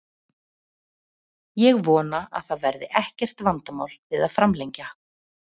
Ég vona að það verði ekkert vandamál við að framlengja.